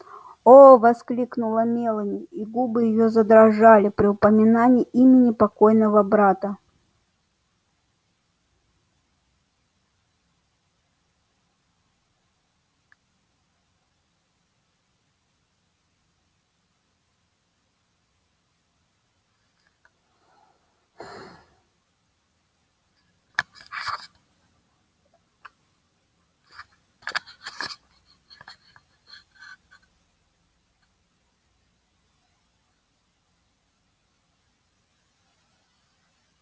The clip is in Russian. о воскликнула мелани и губы её задрожали при упоминании имени покойного брата